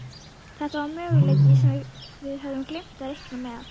Þetta var möguleiki sem við höfðum gleymt að reikna með.